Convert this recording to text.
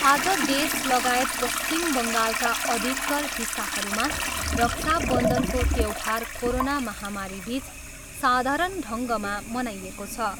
आज देशलगायत पश्चिम बङ्गालका अधिकतर हिस्साहरूमा रक्षा बन्धनको त्यौहार कोरोना महामारीबिच साधारण ढङ्गमा मनाइएको छ।